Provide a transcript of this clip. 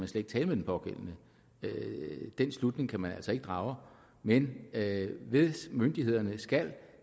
skal tale med den pågældende den slutning kan man altså ikke drage men at myndighederne skal